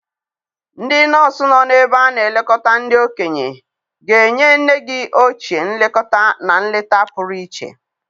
Ndị nọọsụ nọ n'ebe a na-elekọta ndị okenye ga-enye nne gị ochie nlekọta na nleta pụrụ iche.